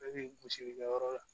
Bɛɛ bi gosilikɛ yɔrɔ la